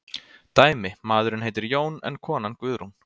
Dæmi: Maðurinn heitir Jón en konan Guðrún.